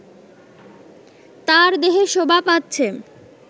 তার দেহে শোভা পাচ্ছে